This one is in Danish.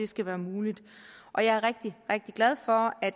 skal være muligt og jeg er rigtig rigtig glad for at